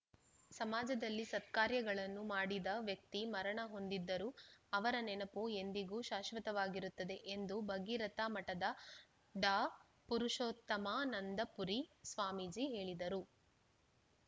ಸಮಾಜದಲ್ಲಿ ಸತ್ಕಾರ್ಯಗಳನ್ನು ಮಾಡಿದ ವ್ಯಕ್ತಿ ಮರಣ ಹೊಂದಿದ್ದರೂ ಅವರ ನೆನಪು ಎಂದಿಗೂ ಶಾಶ್ವತವಾಗಿರುತ್ತದೆ ಎಂದು ಭಗೀರಥ ಮಠದ ಡಾಪುರುಷೋತ್ತಮಾನಂದಪುರಿ ಸ್ವಾಮೀಜಿ ಹೇಳಿದರು